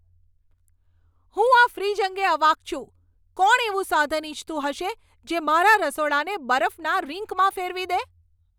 હું આ ફ્રિજ અંગે અવાક છું, કોણ એવું સાધન ઇચ્છતું હશે જે મારા રસોડાને બરફના રિંકમાં ફેરવી દે?